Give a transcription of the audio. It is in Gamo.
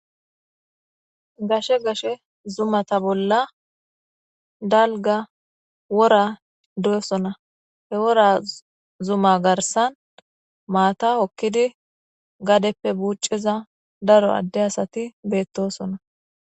gashe gashe zumata bolla dalga wora doesona he wora zuma garsan maata okkidi gadeppe buucciza daro adde asati beettosona